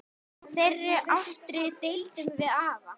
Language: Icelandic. Þeirri ástríðu deildum við afi.